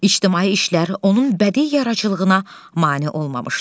İctimai işlər onun bədii yaradıcılığına mane olmamışdı.